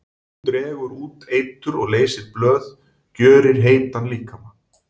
Hún dregur út eitur og leysir blóð, gjörir heitan líkama.